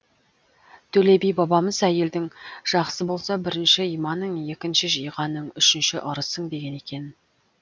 төле би бабамыз әйелің жақсы болса бірінші иманың екінші жиғаның үшінші ырысың деген екен